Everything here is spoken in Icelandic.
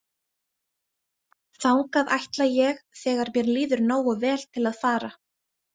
Þangað ætla ég þegar mér líður nógu vel til að fara.